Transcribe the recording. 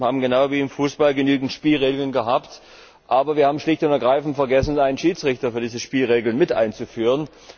Wir haben genau wie im Fußball genügend Spielregeln gehabt, aber wir haben schlicht und ergreifend vergessen, einen Schiedsrichter für diese Spielregeln mit einzuführen.